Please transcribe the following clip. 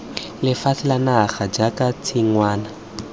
lefatshe la naga jaaka tshingwana